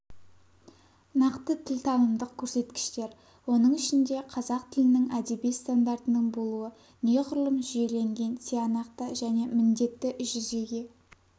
нақты тіл танымдық көрсеткіштер оның ішінде қазақ тілінің әдеби стандартының болуы неғұрлым жүйеленген тиянақты және міндетті жүзеге